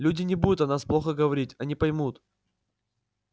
люди не будут о нас плохо говорить они поймут